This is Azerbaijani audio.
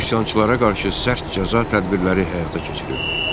Üsyançılara qarşı sərt cəza tədbirləri həyata keçirildi.